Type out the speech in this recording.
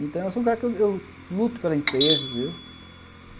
Então, eu sou um cara que eu eu luto pela empresa, entendeu?